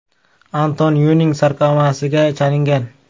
Anton Yuing sarkomasiga chalingan.